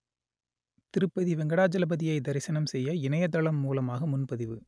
திருப்பதி வெங்கடாஜலபதியை தரிசனம் செய்ய இணையதளம் மூலமாக முன்பதிவு